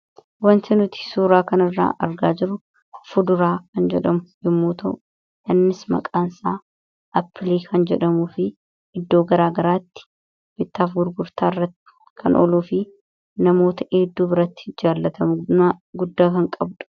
wanti nuti suuraa kan irraa argaa jirru fuduraa kan jedhamu yommuu tau innis maqaan isaa appilii kan jedhamuu fi iddoo garaa garaatti bittaaf gurgurtaa irratti kan oluu fi namoota hedduu biratti jaalatamu guddaa kan qabdha.